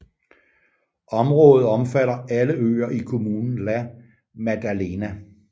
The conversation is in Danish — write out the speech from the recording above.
Området omfatter alle øer i kommunen La Maddalena